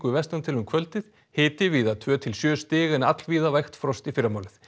vestan til um kvöldið hiti víða tvö til sjö stig en allvíða vægt frost í fyrramálið